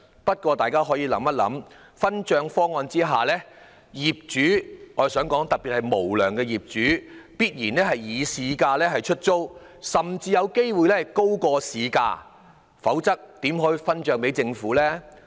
不過大家可以想想，在這個分帳方案下，業主——特別是無良業主——必然會以市價出租其單位，甚至有機會高於市價，否則怎能分帳給政府呢？